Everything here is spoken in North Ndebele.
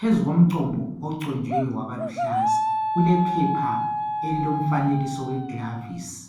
Phezu komcombo oconjwe wabaluhlaza kulephepha elilomfanekiso we glovisi,